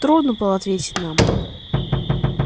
трудно было ответить нам